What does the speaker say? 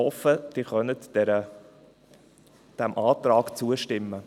Ich hoffe, Sie können diesem Antrag zustimmen.